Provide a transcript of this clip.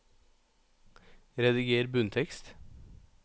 Rediger bunntekst